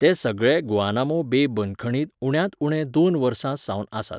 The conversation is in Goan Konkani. ते सगळे गुआनामो बे बंदखणींत उण्यांत उणे दोन वर्सां सावन आसात.